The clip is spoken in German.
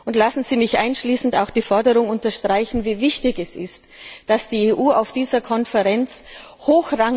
Und lassen Sie mich abschließend auch die Forderung unterstreichen, wie wichtig es ist, dass die EU auf dieser Konferenz hochrangigst vertreten wird.